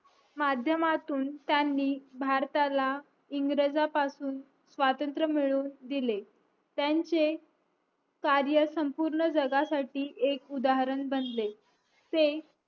माध्यमातून त्यांनी भारताला इंग्रजांपासून स्वत्रंमिळवून दिले त्यांचे कार्य संपूर्ण जगा साठी एक उद्धरण बनले ते